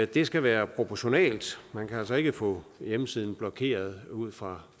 det skal være proportionalt man kan altså ikke få hjemmesiden blokeret ud fra